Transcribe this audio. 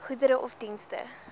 goedere of dienste